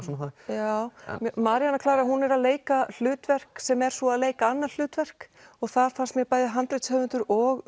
já Maríanna Klara er að leika hlutverk sem er svo að leika annað hlutverk og þar fannst mér að bæði handritshöfundur og